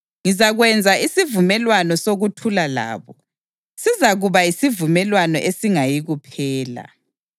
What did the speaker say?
Ngizakwenza isivumelwano sokuthula labo; sizakuba yisivumelwano esingayikuphela.